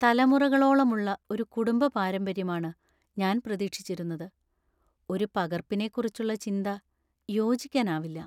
തലമുറകളോളമുള്ള ഒരു കുടുംബ പാരമ്പര്യമാണ് ഞാൻ പ്രതീക്ഷിച്ചിരുന്നത്. ഒരു പകർപ്പിനെക്കുറിച്ചുള്ള ചിന്ത യോജിക്കാനാവില്ല.